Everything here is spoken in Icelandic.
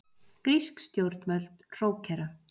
Grísk stjórnvöld hrókera